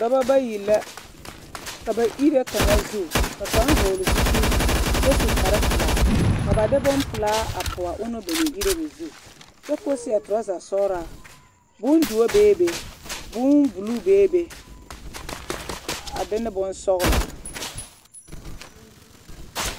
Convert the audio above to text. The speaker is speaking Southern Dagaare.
Dɔbɔ bayi la ka ba ire kaŋa zu ka kaŋ hɔɔle zupili kyɛ su kpare pelaa ka ba de bompelaa a pɔge a ɔnnɔŋ ba naŋ ire o zu kyɛ k'o seɛ torɔza sɔgelaa, bondoɔ beebe, bombuluu beebe a de ne bonsɔgelɔ.